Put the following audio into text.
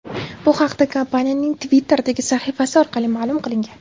Bu haqda kompaniyaning Twitter’dagi sahifasi orqali ma’lum qilingan .